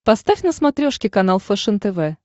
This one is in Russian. поставь на смотрешке канал фэшен тв